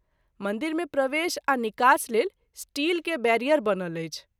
मंदिर मे प्रवेश आ निकास लेल स्टील के बैरियर बनल अछि।